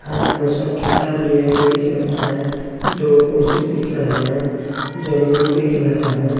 हाथ में सब किताब लिए हुए दिख रहा हैं दो कुर्सी दिख रहा हैं जमीन दिख रहा हैं।